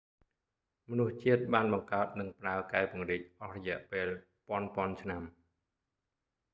មនុស្សជាតិបានបង្កើត និងប្រើកែវពង្រីកអស់រយះពេលពាន់ពាន់ឆ្នាំ